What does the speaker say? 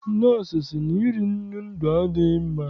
Nọọsụ sị na iri nnu ndụ adịghị mma.